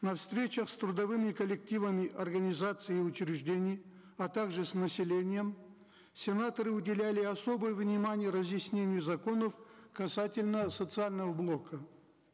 на встречах с трудовыми коллективами организаций и учреждений а также с населением сенаторы уделяли особое внимание разъяснению законов касательно социального блока